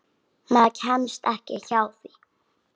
Maður kemst ekki hjá því.